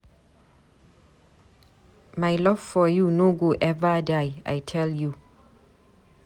My love for you no go eva die, I tell you.